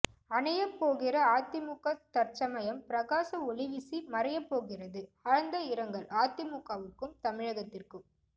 அணையப் போகிற அதிமுக தற்சமயம் பிரகாச ஒளி வீசி மறையப்போகிறது ஆழ்ந்த இரங்கல் அதிமுகவுக்கும் தமிழகத்திற்கும்